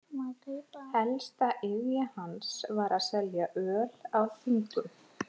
Ein helsta iðja hans var að selja öl á þingum.